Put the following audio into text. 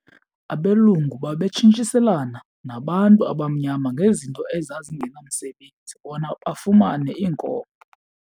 Abelungu babetshintshiselana nabantu abamnyama ngezinto ezingenamsebenzi bona bafumane iinkomo.